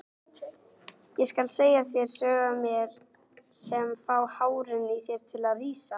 Ég skal segja þér sögur af mér sem fá hárin á þér til að rísa.